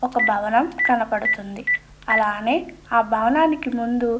ఒక భవనం కనపడుతుంది. అలానే ఆ భవనానికి ముందు --